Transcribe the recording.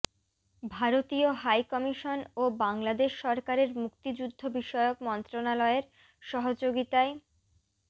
ভারতীয় high commission ও বাংলাদেশ সরকারের মুক্তিযুদ্ধ বিষয়ক মন্ত্রণালয়ের সহযোগিতায়